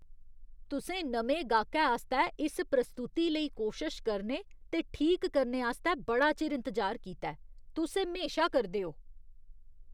तुसें नमें गाह्‌कै आस्तै इस प्रस्तुति लेई कोशश करने ते ठीक करने आस्तै बड़ा चिर इंतजार कीता ऐ। तुस एह् म्हेशा करदे ओ।